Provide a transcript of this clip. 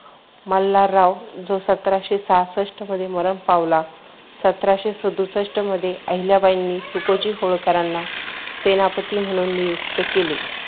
मल्हारराव जो सतराशे सहासष्ट्ट मध्ये मरण पावला. सतराशे सदुसष्ट मध्ये आहिल्याबाईंनी तुकोजी होळकरांना सेनापती म्हणून नियुक्त केले.